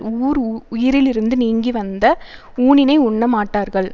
ஊர் உயிரிலிருந்து நீங்கி வந்த ஊனினை உண்ணமாட்டார்கள்